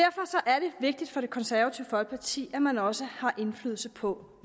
vigtigt for det konservative folkeparti at man også har indflydelse på